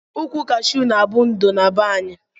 Ukwu kashu na abu ndo na be anyi.